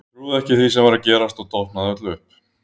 Ég trúði ekki því sem var að gerast og dofnaði öll upp.